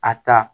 A ta